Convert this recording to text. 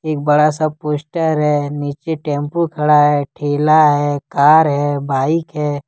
एक बड़ा सा पोस्टर है नीचे टेंपू खड़ा है ठेला है कार है बाइक है।